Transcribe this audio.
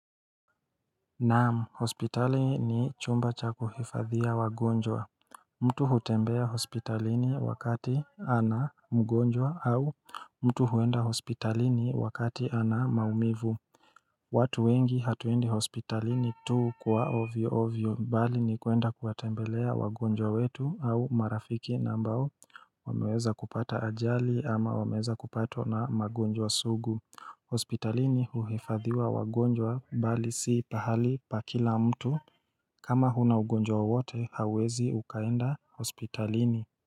Naam hospitali ni chumba cha kuhifadhiwa wagonjwa mtu hutembea hospitalini wakati ana mgonjwa au mtu huenda hospitalini wakati ana maumivu watu wengi hatuendi hospitalini tu kwa ovyo ovyo mbali ni kuenda kuwatembelea wagonjwa wetu au marafiki na ambao wameweza kupata ajali ama wameweza kupatwa na magonjwa sugu hospitalini huhifadhiwa wagonjwa mbali si pahali pa kila mtu kama huna ugonjwa wowote hauwezi ukaenda hospitalini.